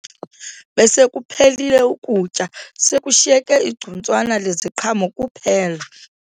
Besekuphelile ukutya sekushiyeke igcuntswana leziqhamo kuphela